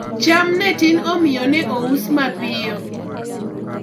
cham ne tin omiyo ne ous mapiyo